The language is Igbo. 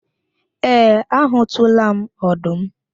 Ee, a hụtụla m ọdụm